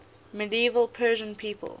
medieval persian people